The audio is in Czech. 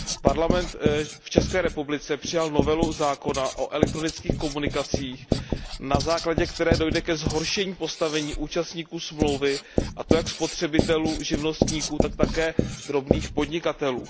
Parlament v ČR přijal novelu zákona o elektronických komunikacích, na základě které dojde ke zhoršení postavení účastníků smlouvy, a to jak spotřebitelů, živnostníků, tak také drobných podnikatelů.